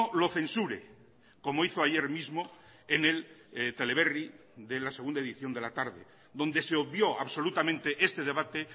lo censure como hizo ayer mismo en el teleberri de la segunda edición de la tarde donde se obvió absolutamente este debate